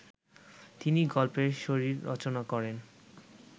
তিনি গল্পের শরীর রচনা করেন